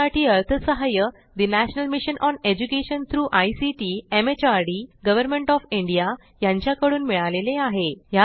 यासाठी अर्थसहाय्य national mission on education through ICT MHRD government of India यांच्याकडून मिळालेले आहे